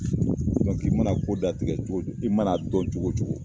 i mana ko datigɛ cogo, i mana dɔn cogo cogo